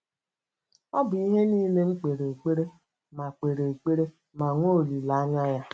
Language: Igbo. Ọ bụ ihe niile m kpere ekpere ma kpere ekpere ma nwee olileanya ya.